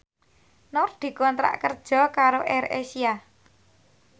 Nur dikontrak kerja karo AirAsia